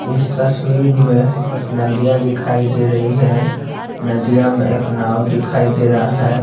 इस तस्वीर में एक नदियाँ दिखाई दे रही है नदियाँ में एक नाव दिखाई दे रहा है।